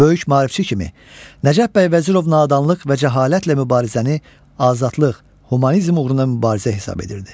Böyük maarifçi kimi Nəcəf bəy Vəzirov nadanlıq və cəhalətlə mübarizəni azadlıq, humanizm uğrunda mübarizə hesab edirdi.